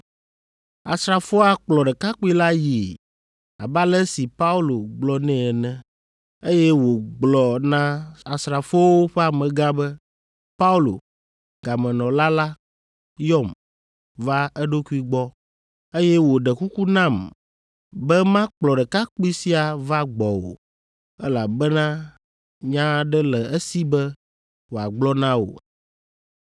Asrafoa kplɔ ɖekakpui la yii abe ale si Paulo gblɔ nɛ ene, eye wògblɔ na asrafoawo ƒe amegã be, “Paulo, gamenɔla la, yɔm va eɖokui gbɔ, eye wòɖe kuku nam be makplɔ ɖekakpui sia va gbɔwò, elabena nya aɖe le esi be wòagblɔ na wò.”